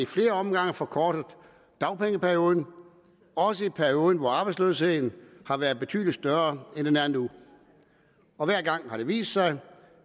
flere omgange forkortet dagpengeperioden også i perioder hvor arbejdsløsheden har været betydelig større end den er nu og hver gang har det vist sig